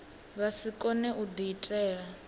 vha si kone u diitela